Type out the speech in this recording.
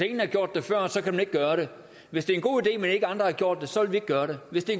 ingen har gjort det før så kan man ikke gøre det hvis det er en god idé men andre ikke har gjort det så vil vi ikke gøre det hvis det